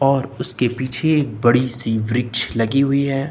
और उसके पीछे एक बड़ी सी वृक्ष लगी हुई है।